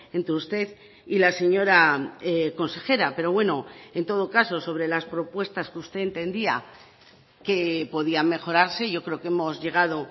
entre usted y la señora consejera pero bueno en todo caso sobre las propuestas que usted entendía que podían mejorarse yo creo que hemos llegado